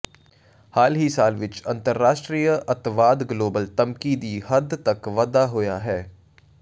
ਹਾਲ ਹੀ ਸਾਲ ਵਿਚ ਅੰਤਰਰਾਸ਼ਟਰੀ ਅੱਤਵਾਦ ਗਲੋਬਲ ਧਮਕੀ ਦੀ ਹੱਦ ਤੱਕ ਵਾਧਾ ਹੋਇਆ ਹੈ